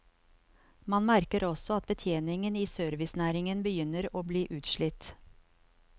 Man merker også at betjeningen i servicenæringen begynner å bli utslitt.